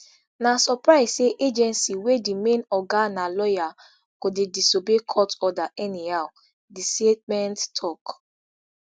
na surprise say agency wey di main oga na lawyer go dey disobey court order anyhow di statement tok